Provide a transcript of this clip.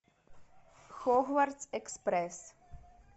хогвартс экспресс